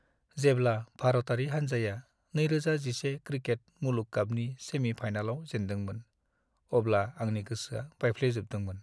जेब्ला भारतारि हान्जाया 2011 क्रिकेट मुलुग कापनि सेमि-फाइनालाव जेनदोंमोन, अब्ला आंनि गोसोआ बायफ्लेजोबदोंमोन।